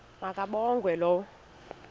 ma kabongwe low